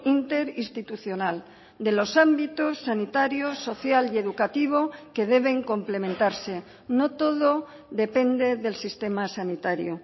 interinstitucional de los ámbitos sanitarios social y educativo que deben complementarse no todo depende del sistema sanitario